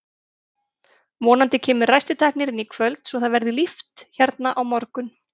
Vonandi kemur ræstitæknirinn í kvöld svo að það verði líft hérna á morgun.